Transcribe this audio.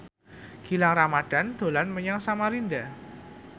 Gilang Ramadan dolan menyang Samarinda